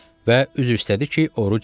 Və üzr istədi ki, oruc deyil.